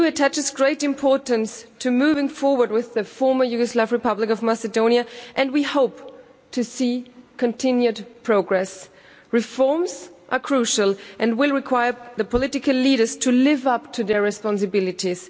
The EU attaches great importance to moving forward with the former Yugoslav Republic of Macedonia, and we hope to see continued progress. Reforms are crucial and will require the political leaders to live up to their responsibilities.